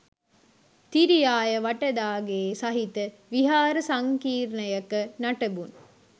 තිරියාය වටදාගේ සහිත විහාර සංකීර්ණයක නටබුන්